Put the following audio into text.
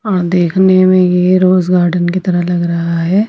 और देखने में ये रोज गार्डन की तरह लग रहा है.